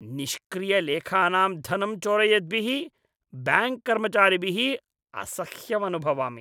निष्क्रियलेखानां धनं चोरयद्भिः ब्याङ्क् कर्मचारिभिः असह्यमनुभवामि।